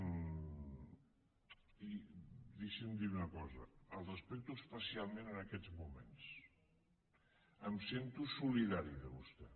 i deixi’m dir una cosa el respecto especialment en aquests moments em sento solidari amb vostè